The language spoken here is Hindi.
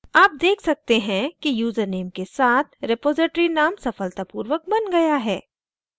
आप देख सकते हैं कि यूज़रनेम के साथ repository name सफलतापूर्वक बन गया है